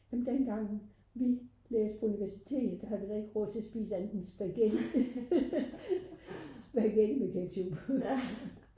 dengang vi læste på universitetet der havde vi da ikke råd til at spise andet end spaghetti spaghetti med ketchup